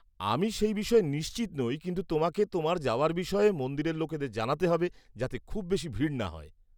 আমি সেই বিষয়ে নিশ্চিত নই, কিন্তু তোমাকে তোমার যাওয়ার বিষয়ে মন্দিরের লোকেদের জানাতে হবে, যাতে খুব বেশি ভিড় না হয়।